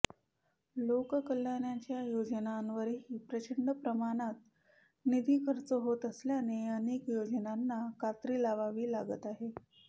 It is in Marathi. लोककल्याणांच्या योजनांवरही प्रचंड प्रमाणत निधी खर्च होत असल्याने अनेक योजनांना कात्री लावावी लागत आहे